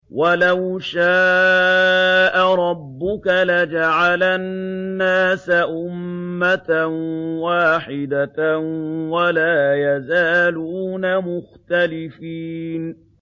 وَلَوْ شَاءَ رَبُّكَ لَجَعَلَ النَّاسَ أُمَّةً وَاحِدَةً ۖ وَلَا يَزَالُونَ مُخْتَلِفِينَ